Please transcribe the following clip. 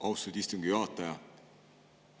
Austatud istungi juhataja!